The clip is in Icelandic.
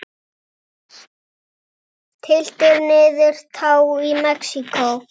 Tylltir niður tá í Mexíkó.